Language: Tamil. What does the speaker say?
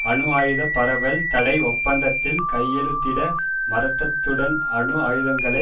அணு ஆயுத பரவல் தடை ஒப்பந்தத்தில் கையெழுத்திட மறுத்ததுடன் அணு ஆயுதங்களை